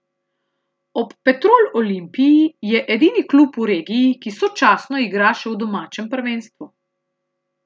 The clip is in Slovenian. Ob Petrol Olimpiji je edini klub v regiji, ki sočasno igra še v domačem prvenstvu.